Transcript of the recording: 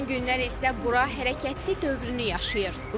Son günlər isə bura hərəkətli dövrünü yaşayır.